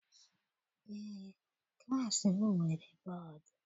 Eé, klassi m nwere bọdu.